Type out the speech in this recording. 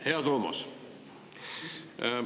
Hea Toomas!